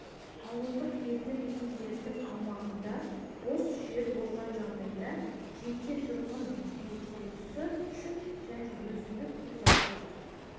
ауылдық елді мекендердің аумағында бос жер болған жағдайда жеке тұрғын үй құрылысы үшін және өзіндік қосалқы